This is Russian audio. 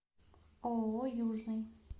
ооо южный